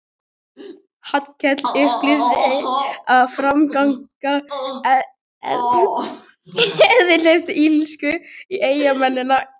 Hallkell upplýsti að framganga erindrekans hefði hleypt illsku í eyjamennina.